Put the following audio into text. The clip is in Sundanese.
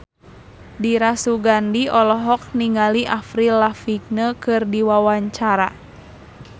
Dira Sugandi olohok ningali Avril Lavigne keur diwawancara